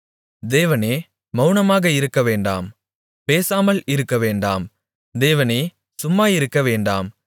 தேவனே மவுனமாக இருக்கவேண்டாம் பேசாமல் இருக்கவேண்டாம் தேவனே சும்மாயிருக்க வேண்டாம்